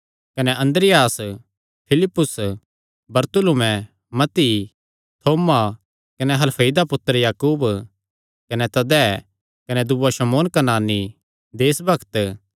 कने अन्द्रियास फिलिप्पुस बरतुल्मै मत्ती थोमा कने हलफई दा पुत्तर याकूब कने तद्दै कने दूआ शमौन कनानी देसभक्त